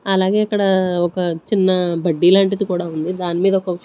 అలాగే ఇక్కడ ఒక చిన్న బడ్డీ లాంటిది కూడా ఉంది దాని మీద ఒక.